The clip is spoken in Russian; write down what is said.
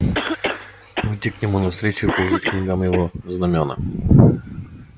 выдти к нему навстречу и положить к ногам его знамёна